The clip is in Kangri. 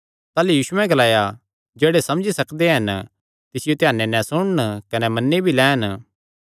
ताह़लू यीशुयैं ग्लाया जेह्ड़े समझी सकदे हन तिसियो ध्याने नैं सुणन कने मन्नी भी लैन